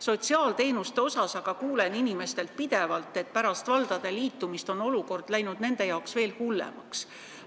Sotsiaalteenuste puhul aga kuulen inimestelt pidevalt, et pärast valdade liitumist on olukord nende jaoks veel hullemaks läinud.